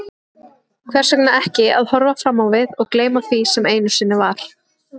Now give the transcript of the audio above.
Hvers vegna ekki að horfa fram á við og gleyma því sem einu sinni var?